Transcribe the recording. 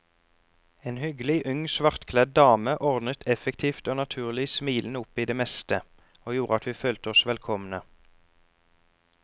En hyggelig ung svartkledd dame ordnet effektivt og naturlig smilende opp i det meste, og gjorde at vi følte oss velkomne.